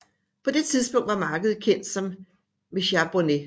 På det tidspunkt var markedet kendt som Mecat Bornet